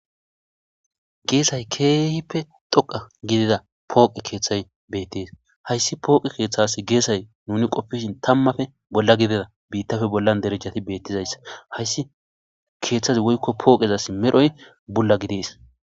geesay keehippe dhoqa gidida pooqe keeththay beettes hayssi pooqe keeththasi geesay nuni qopfishin tammafe bolla gidida biittafe bollan derejjati beettizayssa hayssi keeththazi woykko pooqezas medhoy bulla gidees